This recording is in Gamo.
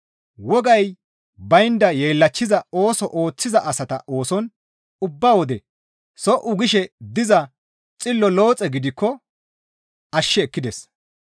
Wogay baynda yeellachchiza ooso ooththiza asata ooson ubba wode so77u gishe diza xillo Looxe gidikko ashshi ekkides.